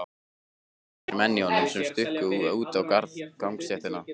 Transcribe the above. Tveir menn í honum sem stukku út á gangstéttina.